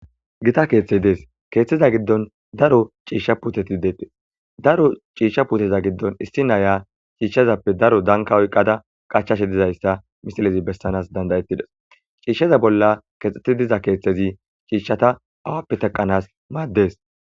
gita keeththey dees keeththeza giddon daro ciishsha puteti deettes daro ciishsha puteza giddon issi naya ciishshazappe daro danka oyqqada qachashe dizayssa misilezi bessanas dandayettides ciishsheza bolla keexxeti diza keeththezi ciishshata awappe teqanas maaddees